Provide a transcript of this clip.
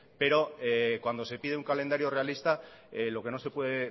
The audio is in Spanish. pero cuando se pide un calendario realista lo que no se puede